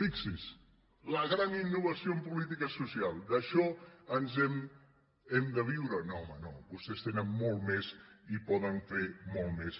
fixinse la gran innovació en política social d’això hem de viure no home no vostès tenen molt més i poden fer molt més